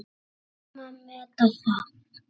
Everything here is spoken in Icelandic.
Við kunnum að meta það.